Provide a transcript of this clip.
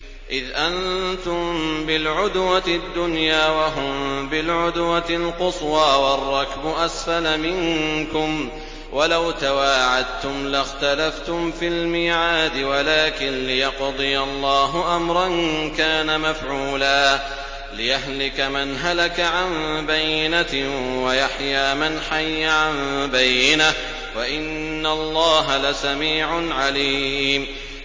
إِذْ أَنتُم بِالْعُدْوَةِ الدُّنْيَا وَهُم بِالْعُدْوَةِ الْقُصْوَىٰ وَالرَّكْبُ أَسْفَلَ مِنكُمْ ۚ وَلَوْ تَوَاعَدتُّمْ لَاخْتَلَفْتُمْ فِي الْمِيعَادِ ۙ وَلَٰكِن لِّيَقْضِيَ اللَّهُ أَمْرًا كَانَ مَفْعُولًا لِّيَهْلِكَ مَنْ هَلَكَ عَن بَيِّنَةٍ وَيَحْيَىٰ مَنْ حَيَّ عَن بَيِّنَةٍ ۗ وَإِنَّ اللَّهَ لَسَمِيعٌ عَلِيمٌ